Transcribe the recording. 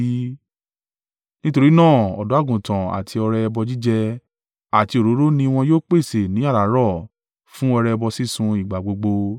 Nítorí náà ọ̀dọ́-àgùntàn àti ọrẹ ẹbọ jíjẹ àti òróró ni wọn yóò pèsè ní àràárọ̀ fún ọrẹ ẹbọ sísun ìgbà gbogbo.